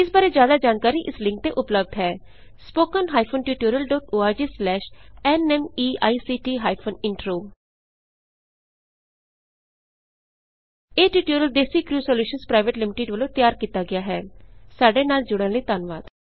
ਇਸ ਬਾਰੇ ਜਿਆਦਾ ਜਾਣਕਾਰੀ ਇਸ ਲਿੰਕ ਤੇ ਉਪਲਬੱਧ ਹੈ httpspoken tutorialorgNMEICT Intro ਇਹ tutorial DesiCrew solutions private limited ਵੱਲੋਂ ਤਿਆਰ ਕੀਤਾ ਗਿਆ ਹੈ ਸਾਡੇ ਨਾਲ ਜੁੜਨ ਲਈ ਧੰਨਵਾਦ